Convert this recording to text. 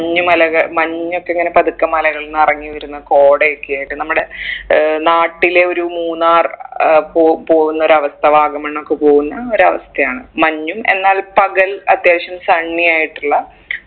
മഞ്ഞുമലകൾ മഞ്ഞ് ഒക്കെ പതുക്കെ മലകളിൽ നിന്ന് ഇറങ്ങി വരുന്ന കോടയൊക്കെ ആയിട്ട് നമ്മുടെ ഏർ നാട്ടിലെ ഒരു മൂന്നാർ ഏർ പോ പോകുന്ന ഒരു അവസ്ഥ വാഗമൺ ഒക്കെ പോകുന്ന ഒരു അവസ്ഥയാണ് മഞ്ഞും എന്നാൽ പകൽ അത്യാവശ്യം sunny ആയിട്ടുള്ള